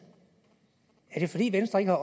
er det fordi venstre ikke